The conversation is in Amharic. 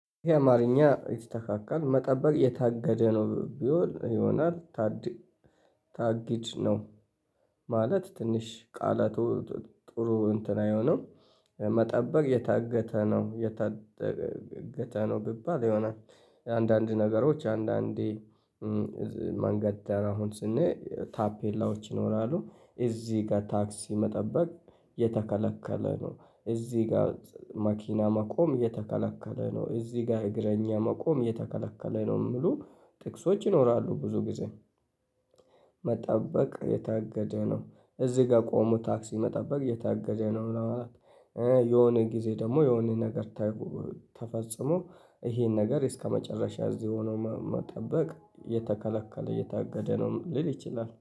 ይሄ አማርኛ የተተካከለ መጠበቅ የታገደ ነው ቢሆን ይሆናል ታጊድ ነው። ማለት ትንሽ ቃላቱ ጥሩ እንትን አይሆነው መጠበቅ የታገተ ነው የታገተ ነው ቢባል ይሆናል። አንዳንድ ነገሮች አንዳንዴ ማንገድ አሁን ስንል ታፔላዎች ይኖራሉ እዚህ ጋር ታክሲ መጠበቅ የተከለከለ ነው። እዚህ ጋር ማኪና ማቆም የተከለከለ ነው። እዚህ ጋር እግረኛ መቆም የተከለከለ ነው። የምሉ ጥቅሶች ይኖራሉ ብዙ ጊዜ። መጠበቅ የታገደ ነው እዚህ ጋር ቆሞ ታክሲ መጠበቅ የታገደ ነው ለማለት። የሆነ ጊዜ ደግሞ የሆነ ነገር ተፈጽሞ ይሄን ነገር እስከመጨረሻ እዚህ ሆኖ መጠበቅ የተከለከለ የታገደ ነው። ሊል ይችላል